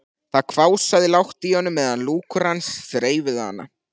Það hvásaði lágt í honum meðan lúkur hans þreifuðu hana.